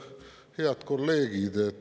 Head kolleegid!